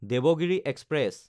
Devagiri express